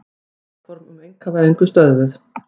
Áform um einkavæðingu stöðvuð